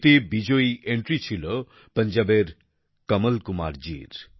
এতে বিজয়ী এন্ট্রি ছিল পঞ্জাবের কমল কুমার জীর